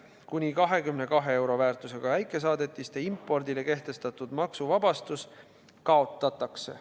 Kuni 22 euro väärtusega väikesaadetiste impordile kehtestatud maksuvabastus kaotatakse.